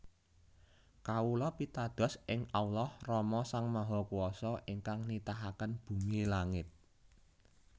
Kawula pitados ing Allah Rama Sang Mahakuwasa ingkang nitahaken bumi langit